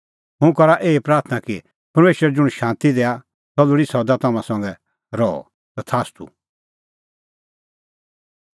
हुंह करा एही प्राथणां कि परमेशर ज़ुंण शांती दैआ सह लोल़ी सदा तम्हां संघै रहअ तथास्तू